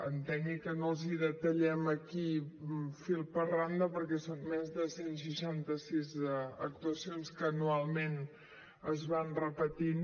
entengui que no els hi detallem aquí fil per randa perquè són més de cent i seixanta sis actuacions que anualment es van repetint